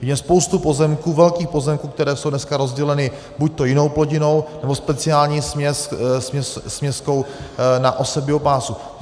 Vidíme spoustu pozemků, velkých pozemků, které jsou dneska rozděleny buď jinou plodinou, nebo speciální směskou na osev biopásů.